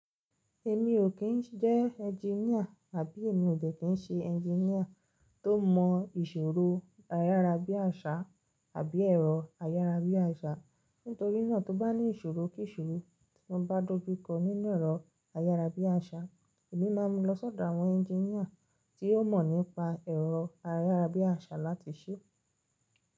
Èmi ò kí ń jẹ́ engineer àbí èmi ò dẹ́ kí ń ṣe engineer tó mọ ìṣòro ayárábiàṣá àbí ẹ̀rọ ayárábiàṣá. Nítorí náà, tó bá ní ìṣòro kí ìṣòro tí mo bá dó bí kọ nínú ẹ̀rọ ayárábiàṣá, èmi máa ń lọ sọ́dọ̀ àwọn engineer tí ó mọ̀ nípa ẹ̀rọ ayárábiàṣá láti ṣe.